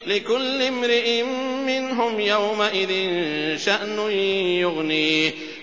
لِكُلِّ امْرِئٍ مِّنْهُمْ يَوْمَئِذٍ شَأْنٌ يُغْنِيهِ